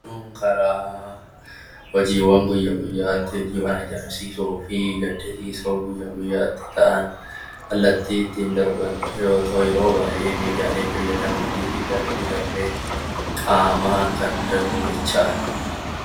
Oduun karaa hojiiwwan guyya guyyaatti oduu gammachiisoo fi gaddisiisoo guyya guyyaatti ta'an kallattii ittiin darban yoo ta'u, yeroo baay'ee miidiyaalee fayyadamuun darbee darbee qaamaan kan darbu jechaadha.